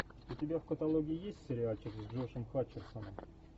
у тебя в каталоге есть сериальчик с джошем хатчерсоном